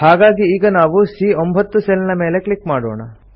ಹಾಗಾಗಿ ಈಗ ನಾವು ಸಿಎ9 ಸೆಲ್ ನ ಮೇಲೆ ಕ್ಲಿಕ್ ಮಾಡೋಣ